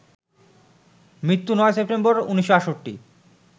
মৃত্যু ৯ সেপ্টেম্বর, ১৯৬৮